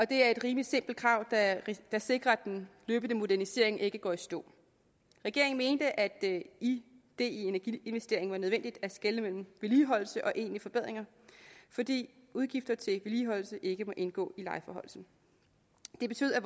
det er et rimelig simpelt krav der sikrer at den løbende modernisering ikke går i stå regeringen mente at det i energiinvesteringer var nødvendigt at skelne mellem vedligeholdelse og egentlige forbedringer fordi udgifterne til vedligeholdelse ikke må indgå i lejeforhøjelsen det betød at